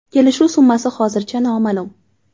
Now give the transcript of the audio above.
Kelishuv summasi hozircha noma’lum.